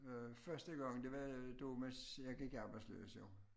Øh første gang det var det var mens jeg gik arbejdsløs jo